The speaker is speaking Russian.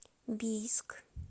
бийск